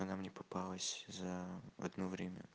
она мне попалась за одно время